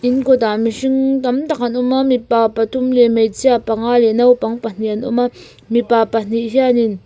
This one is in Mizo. in kawtah mihring tam tak an awm a mipa pathum leh hmeichhia panga leh naupang pahnih an awm a mipa pahnih hianin.